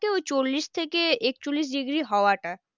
ওই চল্লিশ থেকে একচল্লিশ degree হওয়াটা